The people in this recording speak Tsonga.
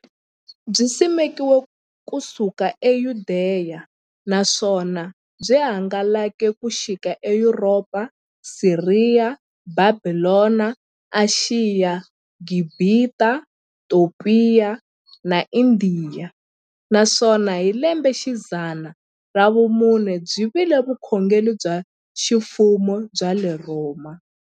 Byisimekiwe ku suka e Yudeya, naswona byi hangalake ku xika e Yuropa, Siriya, Bhabhilona, Ashiya, Gibhita, Topiya na Indiya, naswona hi lembexidzana ra vumune byi vile vukhongeri bya ximfumo bya le Rhoma.